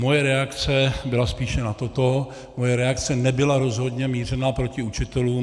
Moje reakce byla spíše na toto, moje reakce nebyla rozhodně mířena proti učitelům.